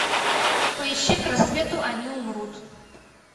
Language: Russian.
поищи к рассвету они умрут